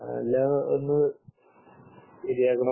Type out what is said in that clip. ആഹ് എല്ലാം ഒന്ന് ശരിയാക്കണം